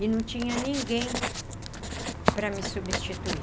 E não tinha ninguém para me substituir.